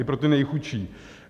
I pro ty nejchudší.